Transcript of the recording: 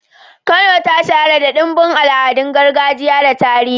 Kano ta shahara da ɗimbin al'adun gargajiya da tarihi.